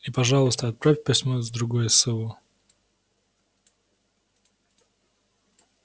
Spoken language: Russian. и пожалуйста отправь письмо с другое сову